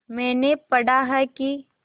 मैंने पढ़ा है कि